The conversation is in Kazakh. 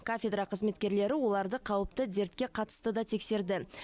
кафедра қызметкерлері оларды қауіпті дертке қатысты да тексерді